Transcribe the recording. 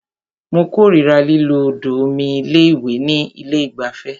Mó kòrira lílo odò omi ìwẹ̀ ní ilé ìgbafẹ́.